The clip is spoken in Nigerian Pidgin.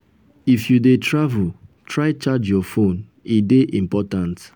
if you dey travel try charge your phone e dey important.